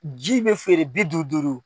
Ji bɛ feere bi duuru duuru.